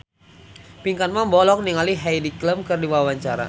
Pinkan Mambo olohok ningali Heidi Klum keur diwawancara